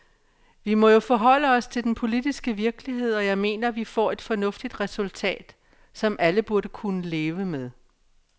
Vi må jo forholde os til den politiske virkelighed, og jeg mener, vi får et fornuftigt resultat, som alle burde kunne leve med.